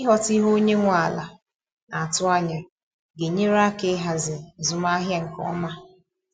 Ịghọta ihe onye nwe ala naatụ anya ga enyere aka ịhazi azụmahịa nke ọma.